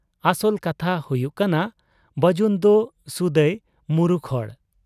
ᱚᱥᱚᱞ ᱠᱟᱛᱷᱟ ᱦᱩᱭᱩᱜ ᱠᱟᱱᱟ ᱵᱟᱹᱡᱩᱱᱫᱚ ᱥᱩᱫᱟᱹᱭ ᱢᱩᱨᱩᱠ ᱦᱚᱲ ᱾